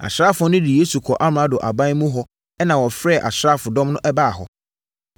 Asraafoɔ no de Yesu kɔɔ amrado aban mu hɔ ɛnna wɔfrɛɛ asraafodɔm baa hɔ.